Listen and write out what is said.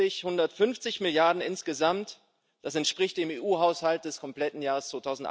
150 Milliarden insgesamt das entspricht dem EU Haushalt des kompletten Jahres